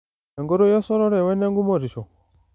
Enkoitoi esotore wene ngumotisho.